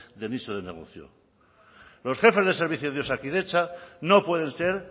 de nicho de negocio los jefes de servicios de osakidetza no pueden ser